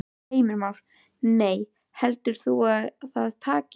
Heimir Már: Nei, heldur þú að það takist?